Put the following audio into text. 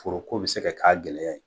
Foro ko bi se ka k'a gɛlɛya ye